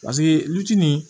Paseke luti nin